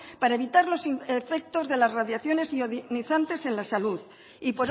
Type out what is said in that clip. para evitar los efectos de las radiaciones ionizantes en la salud y